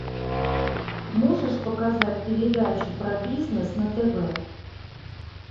можешь показать передачу про бизнес на тв